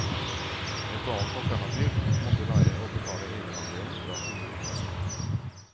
Et annet alternativ måtte være å betale egenandelen fra kommunekassen.